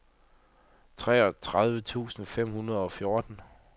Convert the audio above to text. treogtredive tusind fem hundrede og fjorten